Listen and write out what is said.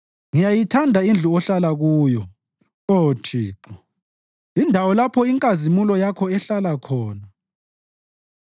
Ngiyayithanda indlu ohlala kuyo, Oh Thixo, indawo lapho inkazimulo Yakho ehlala khona.